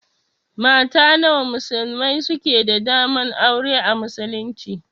Mata nawa musulmai suke da daman aura a muslunci?